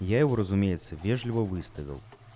я его разумеется вежливо выставил